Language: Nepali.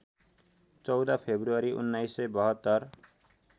१४ फेब्रुअरि १९७२